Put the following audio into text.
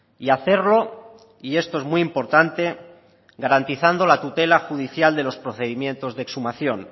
y hacerlo y esto es muy importante garantizando la tutela judicial de los procedimientos de exhumación